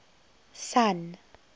sun